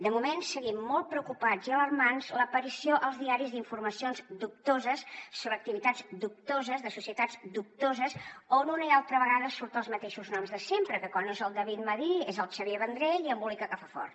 de moment seguim molt preocupats i alarmats l’aparició als diaris d’informacions dubtoses sobre activitats dubtoses de societats dubtoses on una i altra vegada surten els mateixos noms de sempre que quan no és el david madí és el xavier vendrell i embolica que fa fort